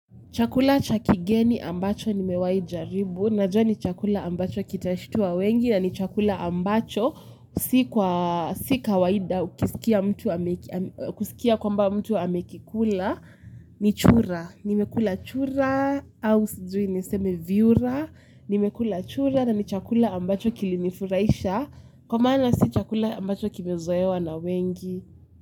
Chakula cha kigeni mbacho nimewai jaribu. Najua ni chakula ambacho kitashtua wengi na ni chakula ambacho si kwa si kawaida kusikia kwamba mtu amekikula. Ni chura. Nimekula chura. Au sijui niseme vyura. Nimekula chura na ni chakula ambacho kili nifuraisha. Kwa maana si chakula ambacho kimezoewa na wengi.